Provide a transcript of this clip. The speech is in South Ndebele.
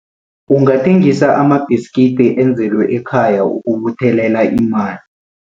Ungathengisa amabhiskidi enzelwe ekhaya ukubuthelela imali.